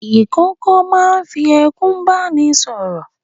Ìkókó máa ń fi ẹkún bá ni sọ̀rọ̀.